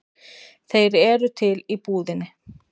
Þeir eru til í búðinni.